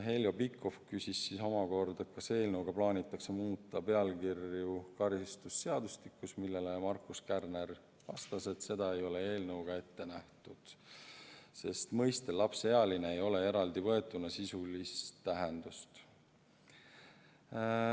Heljo Pikhof küsis omakorda, kas eelnõuga plaanitakse muuta pealkirju karistusseadustikus, millele Markus Kärner vastas, et seda ei ole eelnõu kohaselt ette nähtud, sest mõistel "lapseealine" ei ole eraldivõetuna sisulist tähendust.